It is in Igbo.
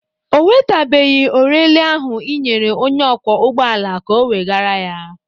Ọ wetabeghị orele ahụ ị nyere onye ọkwọ ụgbọala ka o wegara ya.